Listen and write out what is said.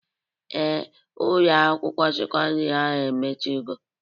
Ee, Ụlọ akwụkwọ sekọndrị ahụ emechigo